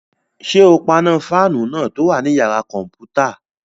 Ṣé o paná fáànù náà tó wà ní yàrá-kọ̀mpútà?